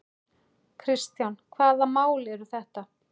Kristján: Hvaða mál eru þetta?